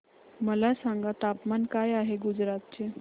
मला सांगा तापमान काय आहे गुजरात चे